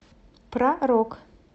про рок